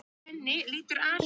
Já, er það ekki alltaf þannig?